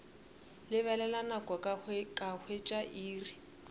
lebelela nako ka hwetša iri